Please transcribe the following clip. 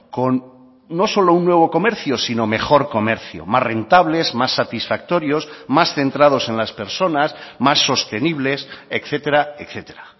con no solo un nuevo comercio sino mejor comercio más rentables más satisfactorios más centrados en las personas más sostenibles etcétera etcétera